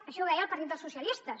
això ho deia el partit socialistes